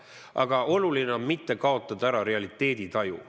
Aga oluline on mitte kaotada realiteeditaju.